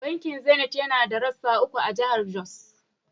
Bankin Zenith yana da rassa uku a jahar Jos.